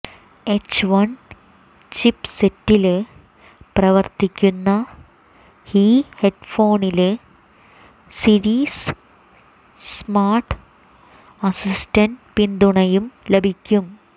H one ചിപ്പ്സെറ്റില് പ്രവര്ത്തിക്കുന്ന ഈ ഹെഡ്ഫോണില് സിരി സ്മാര്ട് അസിസ്റ്റന്റ് പിന്തുണയും ലഭിക്കും